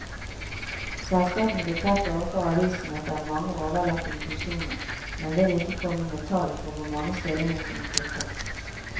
Selskapene bekrefter overfor avisen at det er mange overlappende funksjoner, men vil ikke komme med tall for hvor mange stillinger som må kuttes.